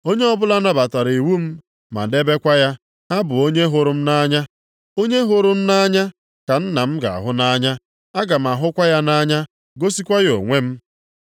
Onye ọbụla nabatara iwu m ma na-edebekwa ha bụ onye hụrụ m nʼanya. Onye hụrụ m nʼanya ka Nna m ga-ahụ nʼanya. Aga m ahụkwa ya nʼanya gosikwa ya onwe m.”